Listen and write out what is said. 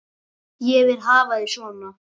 Ég vil hafa þig svona.